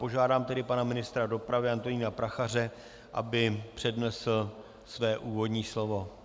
Požádám tedy pana ministra dopravy Antonína Prachaře, aby přednesl své úvodní slovo.